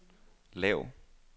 lav